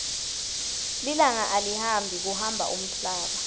lilanga alihambi kuhamba umhlaba